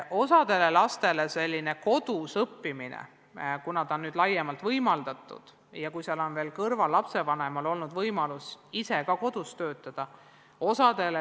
Osale lastele ja peredele on selline kodus õppimine – kuna seda on nüüd laiemalt võimaldatud – väga sobinud, juhul kui ka lapsevanemal on olnud võimalus kodus töötada.